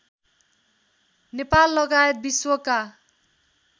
नेपाल लगायत विश्वका